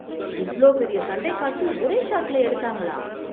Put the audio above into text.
இவ்ளோ பெரிய சண்டை காட்சி ஒரே ஷாட்ல எடுத்தாங்களா?